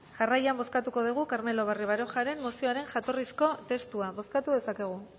jarraian bozkatuko dugu carmelo barrio barojaren mozioaren jatorrizko testua bozkatu dezakegu